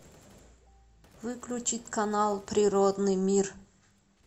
выключить канал природный мир